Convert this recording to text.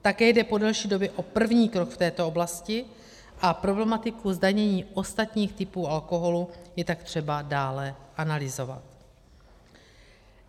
Také jde po delší době o první krok v této oblasti a problematiku zdanění ostatních typů alkoholu je tak třeba dále analyzovat.